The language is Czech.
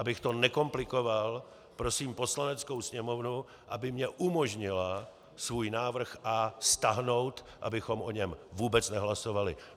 Abych to nekomplikoval, prosím Poslaneckou sněmovnu, aby mi umožnila svůj návrh A stáhnout, abychom o něm vůbec nehlasovali.